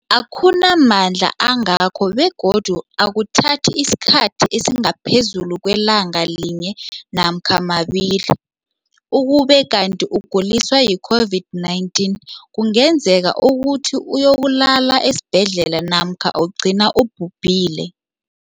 akuna mandla angako begodu akuthathi isikhathi esingaphezulu kwelanga linye namkha mabili, ukube kanti ukuguliswa yi-COVID-19 kungenza ukuthi uyokulala esibhedlela namkha ugcine ubhubhile.